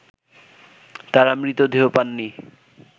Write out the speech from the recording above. তারা মৃতদেহ পাননি